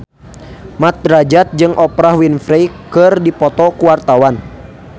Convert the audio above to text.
Mat Drajat jeung Oprah Winfrey keur dipoto ku wartawan